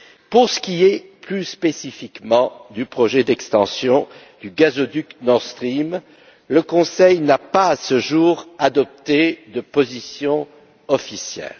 Pour ce qui est plus spécifiquement du projet d'extension du gazoduc Nord Stream, le Conseil n'a pas, à ce jour, adopté de position officielle.